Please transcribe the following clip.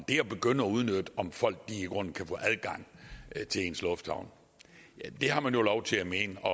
at begynde at udnytte om folk i grunden kan få adgang til ens lufthavn har man jo lov til at mene at